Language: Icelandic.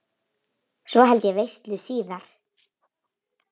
Svo held ég veislu síðar.